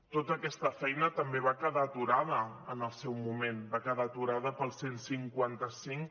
tota aquesta feina també va quedar aturada en el seu moment va quedar aturada pel cent i cinquanta cinc